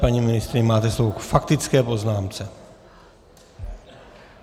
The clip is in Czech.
Paní ministryně, máte slovo k faktické poznámce.